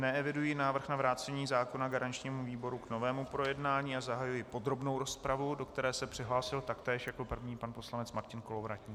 Neeviduji návrh na vrácení zákona garančnímu výboru k novému projednání a zahajuji podrobnou rozpravu, do které se přihlásil taktéž jako první pan poslanec Martin Kolovratník.